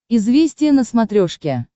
известия на смотрешке